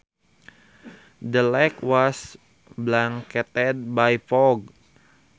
The lake was blanketed by fog